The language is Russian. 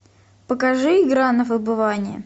покажи игра на выбывание